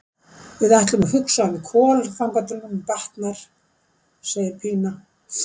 Við ætlum að hugsa um Kol þangað til honum batnar, segir Pína.